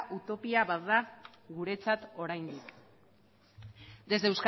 utopia bat da guretzat oraindik desde